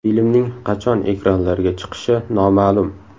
Filmning qachon ekranlarga chiqishi noma’lum.